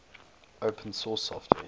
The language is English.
open source software